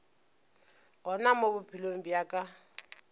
gona mo bophelong bja ka